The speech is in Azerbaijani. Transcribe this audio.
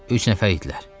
Üç nəfər idilər.